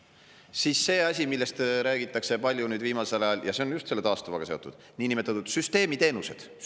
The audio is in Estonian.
Siis on see asi, millest räägitakse palju viimasel ajal ja mis on just taastuvaga seotud: niinimetatud süsteemiteenused.